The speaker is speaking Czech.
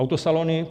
Autosalony -